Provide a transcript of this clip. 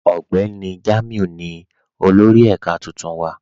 Ọgbẹni Jamiu ni olórì èká tuntun wa.